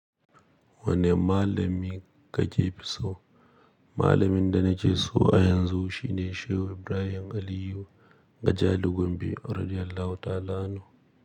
Wani malami ka fi so? Malamin da na ke so a yanzu shine Shehu Ibrahim Aliyu Gajali Gombe radiallahu ta'ala anhu.